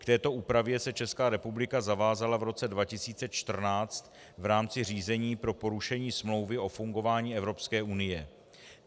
K této úpravě se Česká republika zavázala v roce 2014 v rámci řízení pro porušení Smlouvy o fungování Evropské unie.